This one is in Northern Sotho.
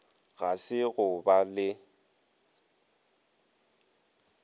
ga se go ba le